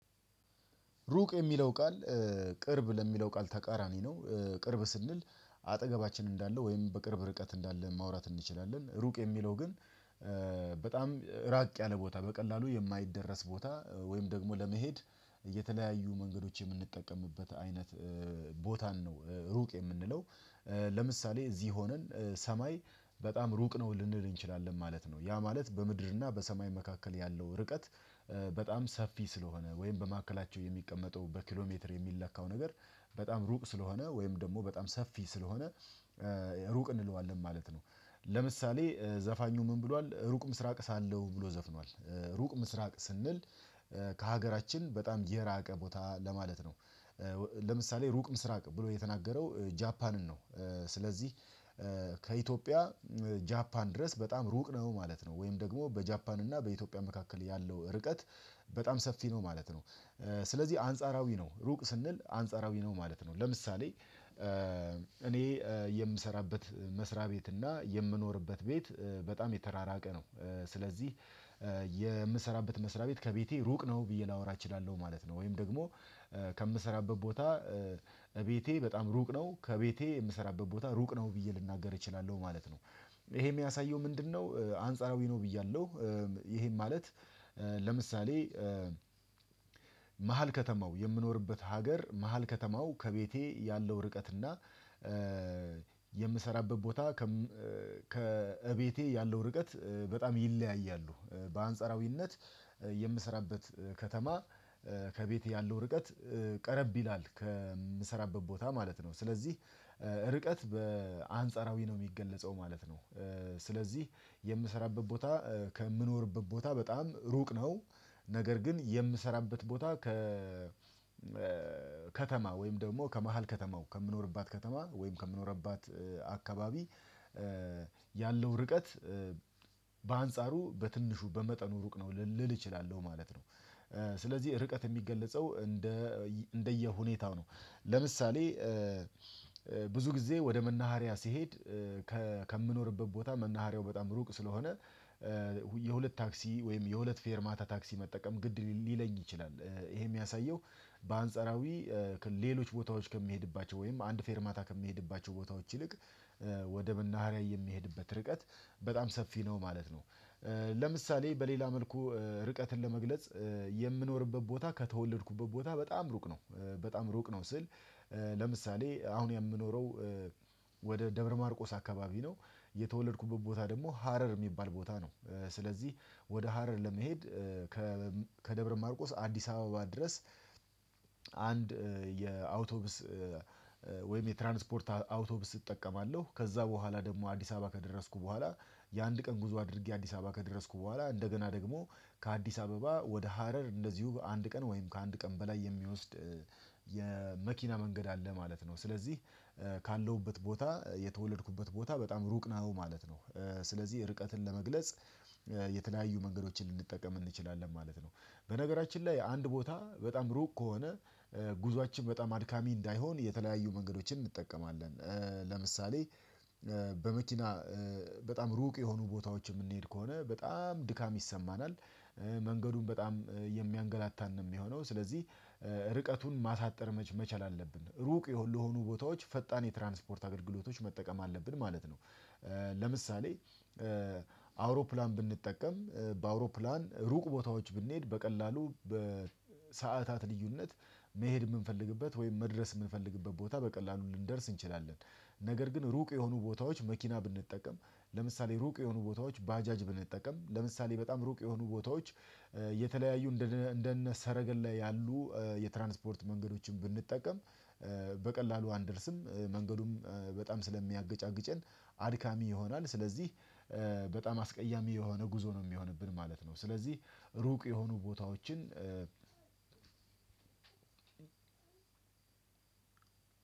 ሩቅ የሚለው ቃል ቅርብ ለሚለው ቃል ተቃራኒ ነው ቅርብ ስንል አጠገባችን እንዳለ ወይም በቅርብ ርቀት እንዳለ ማውራት እንችላለን። ሩቅ የሚለው ግን በጣም ራቅ ያለ ቦታ በቀላሉ የማይደረስ ቦታ ወይም ደግሞ ለመሄድ የተለያዩ መንገዶች የምንጠቀምበት አይነት ቦታን ነው። ሩቅ የምንለው ለምሳሌ እዚህ ሆነን ሰማይ በጣም ሩቅ ነው ልንል እንችላለን ማለት ነው። ያ ማለት በምድርና በሰማይ መካከል ያለው ርቀት በጣም ሰፊ ስለሆነ ወይም በመካከላቸው የሚቀመጠው በኪሎሜትር የሚለካው ነገር በጣም ሩቅ ስለሆነ ወይም ደግሞ በጣም ሰፊ ስለሆነ ሩቅ እንለዋለን ማለት ነው። ለምሳሌ ዘፋኙ ምን ብሏል ሩቅ ምስራቅ ሳለው ብሎ ዘፍኗል ሩቅ ምስራቅ ስንል ከሀገራችን በጣም የራቀ ቦታ ለማለት ነው። ለምሳሌ ሩቅ ምስራቅ ብሎ የተናገረው ጃፓንን ነው። ስለዚህ ከኢትዮጵያ ጃፓን ድረስ በጣም ሩቅ ነው ማለት ነው። ወይም ደግሞ በጃፓን እና በኢትዮጵያ መካከል ያለው ርቀት በጣም ሰፊ ነው ማለት ነው። ስለዚህ አንጻራዊ ነው ሩቅ ስንል አንጻራዊ ነው ማለት ነው። ለምሳሌ እኔ የምሰራበት መስሪያ ቤት እና የምኖርበት ቤት በጣም የተራራቀ ነው። ስለዚህ የምሰራበት መስሪያ ቤት ከቤቴ ሩቅ ነው ብዬ ላወራ እችላለሁ ማለት ነው። ወይም ደግሞ ከምሰራበት ቦታ ቤቴ በጣም ሩቅ ነው ከቤቴ የምሰራበት ቦታ ሩቅ ነው ብዬ ልናገር እችላለሁ ማለት ነው። ይሄ የሚያሳየው ምንድነው? አንጻራዊ ነው ብያለሁ። ይሄን ማለት ለምሳሌ መሃል ከተማው የምኖርበት ሀገር መሃል ከተማው ከቤቴ ያለው ርቀትና የምሰራበት ቦታ ከቤቴ ያለው ርቀት በጣም ይለያያሉ። በአንጻራዊነት የምሰራበት ከተማ ከቤት ያለው ርቀት ቀረብ ይላል ከምሰራበት ቦታ ማለት ነው። ስለዚህ ርቀት በአንጻራዊ ነው የሚገለጸው ማለት ነው። ስለዚህ የምሰራበት ቦታ ከምኖርበት ቦታ በጣም ሩቅ ነው። ነገር ግን የምሰራበት ቦታ ከ ከከተማ ወይም ደግሞ ከመሃል ከተማው ከምኖርባት ከተማ ወይም ከምኖርባት አካባቢ ያለው ርቀት በአንጻሩ በትንሹ በመጠኑ ሩቅ ነው ልል እችላለሁ ማለት ነው። ስለዚህ ርቀት የሚገለጸው እንደ እንደየሁኔታው ነው። ለምሳሌ ብዙ ጊዜ ወደ መናሃሪያ ሲሄድ ከምኖርበት ቦታ መናሃሪያው በጣም ሩቅ ስለሆነ የሁለት ታክሲ ወይም የሁለት ፌር ማታ ታክሲ መጠቀም ግድ ሊለኝ ይችላል። ይሄ የሚያሳየው በአንጻራዊ ሌሎች ቦታዎች ከሚሄድባቸው ወይም አንድ ፌርማታ ከሚሄድባቸው ቦታዎች ይልቅ ወደ መናሃሪያ የሚሄድበት ርቀት በጣም ሰፊ ነው ማለት ነው። ለምሳሌ በሌላ መልኩ ርቀትን ለመግለጽ የምኖርበት ቦታ ከተወለድኩበት ቦታ በጣም ሩቅ ነው። በጣም ሩቅ ነው ስል። ለምሳሌ አሁን የምኖረው ወደ ደብረማርቆስ አካባቢ ነው። የተወለድኩበት ቦታ ደግሞ ሀረር የሚባል ቦታ ነው። ስለዚህ ወደ ሀረር ለመሄድ ከደብረ ማርቆስ አዲስ አበባ ድረስ አንድ የአውቶብስ ወይም የትራንስፖርት አውቶብስ እጠቀማለሁ ከዛ በኋላ ደግሞ አዲስ አበባ ከደረስኩ በኋላ የአንድ ቀን ጉዞ አድርጌ አዲስ አበባ ከደረስኩ በኋላ እንደገና ደግሞ ከአዲስ አበባ ወደ ሀረር እንደዚሁ በአንድ ቀን ወይም ከአንድ ቀን በላይ የሚወስድ የመኪና መንገድ አለ ማለት ነው። ስለዚህ ካለሁበት ቦታ የተወለድኩበት ቦታ በጣም ሩቅ ነው ማለት ነው። ስለዚህ ርቀትን ለመግለጽ የተለያዩ መንገዶችን ልንጠቀም እንችላለን ማለት ነው። በነገራችን ላይ አንድ ቦታ በጣም ሩቅ ከሆነ ጉዞአችን በጣም አድካሚ እንዳይሆን የተለያዩ መንገዶችን እንጠቀማለን ለምሳሌ በመኪና በጣም ሩቅ የሆኑ ቦታዎች የምንሄድ ከሆነ በጣም ድካም ይሰማናል። መንገዱን በጣም የሚያንገላታን ነው የሚሆነው። ስለዚህ ርቀቱን ማሳጠር መቻል አለብን ሩቅ ለሆኑ ቦታዎች ፈጣን የትራንስፖርት አገልግሎቶች መጠቀም አለብን ማለት ነው። ለምሳሌ አውሮፕላን ብንጠቀም በአውሮፕላን ሩቅ ቦታዎች ብንሄድ በቀላሉ በሰአታት ልዩነት መሄድ የምንፈልግበት ወይም መድረስ የምንፈልግበት ቦታ በቀላሉ ልንደርስ እንችላለን። ነገር ግን ሩቅ የሆኑ ቦታዎች መኪና ብንጠቀም ለምሳሌ ሩቅ የሆኑ ቦታዎች ባጃጅ ብንጠቀም ለምሳሌ በጣም ሩቅ የሆኑ ቦታዎች የተለያዩ እንደነ ሰረገላ ያሉ የትራንስፖርት መንገዶችን ብንጠቀም በቀላሉ አንደርስም መንገዱም በጣም ስለሚያገጫግጨን አድካሚ ይሆናል። ስለዚህ በጣም አስቀያሚ የሆነ ጉዞ ነው የሚሆንብን ማለት ነው። ስለዚህ ሩቅ የሆኑ ቦታዎችን